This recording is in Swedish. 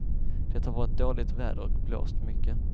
Det har varit dåligt väder och blåst mycket.